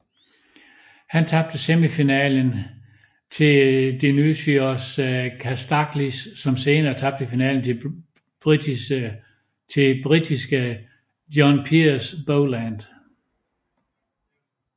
Han tabte semifinalen til Dionysios Kasdaglis som senere tabte finalen til britiske John Pius Boland